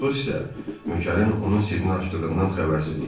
Portos isə nökərin onun sirrini açdığından xəbərsiz idi.